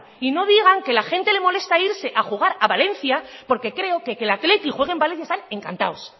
y no digan que la gente irse a jugar a valencia porque creo que el athletic juegue en valencia están encantados